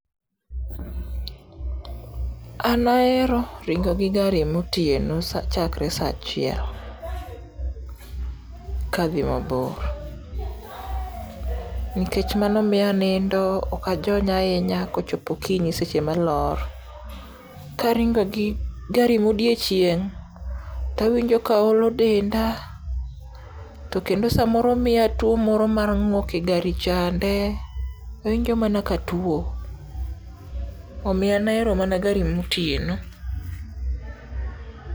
An ahero ringo gi gari motien chakre sa achiel ka adhi mabor. Nikech mano miya anindo ok a jony ahinya kochopo okinyi seche ma alar. Karingo gi gari ma odiochieng to awinjo ka olo denda to kendo samoro miya tuo moro mar ng'ok e gari change. Awinjo mana ka atuo. Omiyo an ahero mana gari motieno.